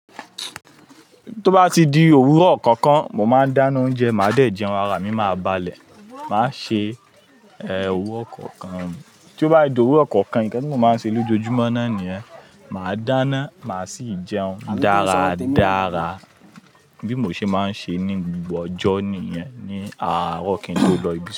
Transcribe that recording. Tó bá di òwúrọ̀ kankan, mo máa dáná oúnjẹ, màá dẹ̀ jẹun, ara mi máa balẹ̀. Màá ṣe òwúrọ̀ kankan. Tí ó bá di òwúrọ̀ kankan, ìkẹ́ ni mo máa ń ṣe lójoojúmọ́ náà nìyẹn. Màá dáná, màá sì jẹun dáradára bí mo ṣe máa ń ṣe ní gbogbo ọjọ́ nìyẹn ní àárọ̀ kí n tó lọ ibi.